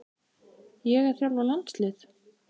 Ég að þjálfa landslið?